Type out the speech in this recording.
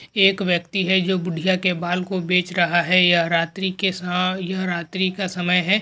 एक व्यक्ति है जो बुढ़िया के बाल को बचे रहा है यह रात्री के सहा यह रात्री का समय है।